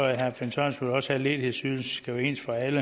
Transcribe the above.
herre finn sørensen også have at ledighedsydelsen skal være ens for alle